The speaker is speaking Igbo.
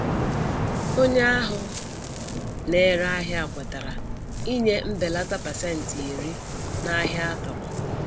Onye ahụ na-ere ahịa kwetara ịnye mbelata pasentị iri (10%) n'ahia atụ̀rụ̀.